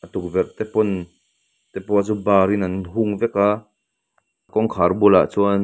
tukverh te pawn te pawh chu bar in an hung vek a kawngkhar bulah chuan --